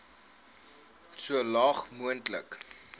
so laag moontlik